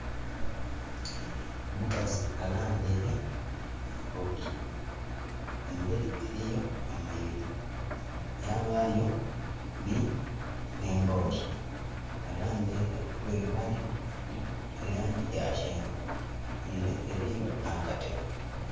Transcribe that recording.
Omukazi alambaile mu mbooli. Emberi eliyo amayuuni, yabayo nh'embooli. Alambaile olugoye lwalimu luliku e laangi ya kyenvu. Ele eliyo nh'akatebe.